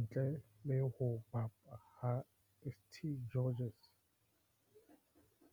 Ntle le ho bapa ha St George's